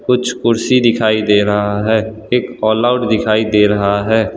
कुछ कुर्सी दिखाई दे रहा है एक ऑल आउट दिखाई दे रहा हैं।